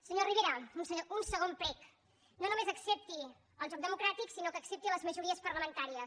senyor rivera un segon prec no només accepti el joc democràtic sinó que accepti les majories parlamentàries